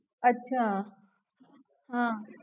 અચ્છા હમ